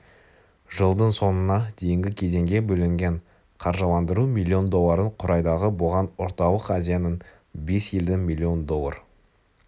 жылдың соңына дейінгі кезеңге бөлінген қаржыландыру миллион долларын құрайды бұған орталық-азияның бес елдің миллион доллар